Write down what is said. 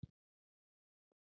Nú, verður veisla?